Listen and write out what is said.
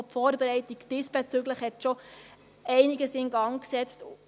Auch die Vorbereitung diesbezüglich hat schon einiges in Gang gesetzt.